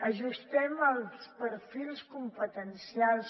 ajustem els perfils competencials